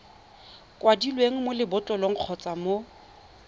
kwadilweng mo lebotlolong kgotsa mo